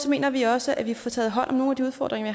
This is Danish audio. mener vi også at vi får taget hånd om nogle af de udfordringer